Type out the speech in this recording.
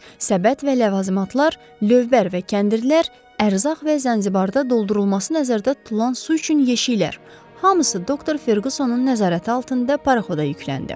Səbət və ləvazimatlar, lövbər və kəndirlər, ərzaq və Zanzibarda doldurulması nəzərdə tutulan su üçün yeşiklər, hamısı doktor Ferqüssonun nəzarəti altında paraxoda yükləndi.